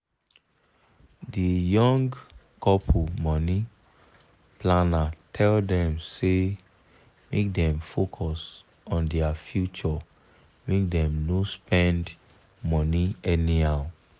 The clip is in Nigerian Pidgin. the young couple money planner tell dem say make dem focus on their future make dem no spend money anyhow.